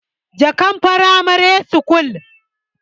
jaka pramare school